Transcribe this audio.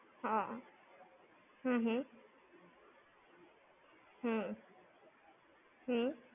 હ, હમ હમ. હમ્મ. હમ્મ.